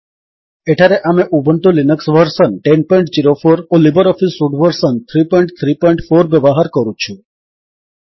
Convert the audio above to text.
ଏଠାରେ ଆମେ Ubuntu Linux version 1004 ଓ ଲିବର୍ ଅଫିସ୍ ସୁଟ୍ ଭର୍ସନ୍ 334 ବ୍ୟବହାର କରୁଛୁ